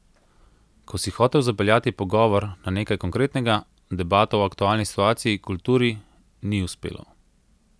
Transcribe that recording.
Ko si hotel zapeljati pogovor na nekaj konkretnega, debato o aktualni situaciji, kulturi, ni uspelo.